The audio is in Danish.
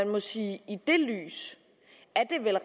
må sige at i det lys